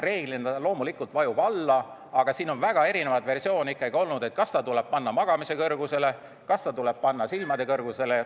Reeglina see loomulikult vajub alla, aga siin on väga erinevaid versioone olnud, kas see tuleb panna magamise kõrgusele, kas see tuleb panna silmade kõrgusele ...